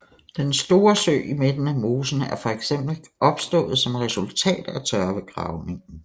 Den store sø i midten af mosen er for eksempel opstået som resultat af tørvegravningen